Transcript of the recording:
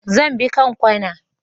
Zan bi kanƙwana.